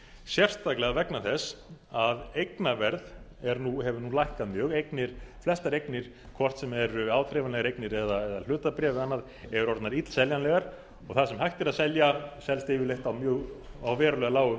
sérstaklega vegna þess að eignaverð hefur nú lækkað mjög flestar eignir hvort sem eru áþreifanlegar eignir eða hlutabréf eða annað eru orðnar illseljanlegar og það sem hægt er að selja selst yfirleitt á verulega lágu